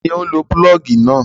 Ta ni ó ń lo pulọ́ọ́gì náà?